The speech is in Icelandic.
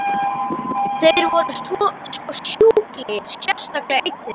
Þeir voru sko sjúklegir, sérstaklega einn þeirra.